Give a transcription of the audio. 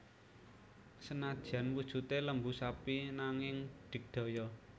Senadyan wujudé lembu sapi nanging digdaya